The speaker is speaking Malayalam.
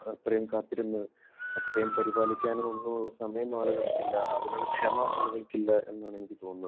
അത്രയും കാത്തിരുന്ന്, അത്രയും പരിപാലിക്കാനും ഒന്നും ഉള്ള സമയം ആളുകൾക്ക് ഇല്ല. അതിനുള്ള ക്ഷമ ആളുകൾക്ക് ഇല്ല എന്നാണ് എനിക്ക് തോന്നുന്നത്.